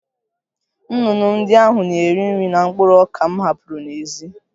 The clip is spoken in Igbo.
Nnụnụ ndị ahụ na-eri nri na mkpụrụ ọka m hapụrụ n'èzí